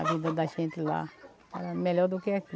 A vida da gente lá era melhor do que aqui.